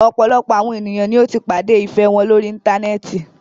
Ọ̀pọ̀lọpọ̀ àwọn ènìyàn ní o tí pàdé ìfẹ wọn lórí íntanẹ́ẹ̀ti.